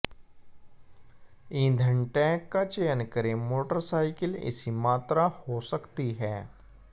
ईंधन टैंक का चयन करें मोटरसाइकिल इसी मात्रा हो सकती है